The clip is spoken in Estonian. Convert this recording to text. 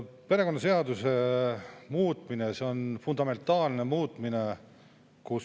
Perekonnaseaduse muutmine on fundamentaalne muutmine.